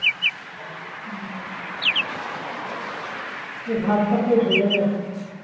ভাতটা পুরো গলে গেছে